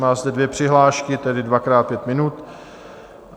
Má zde dvě přihlášky, tedy dvakrát pět minut.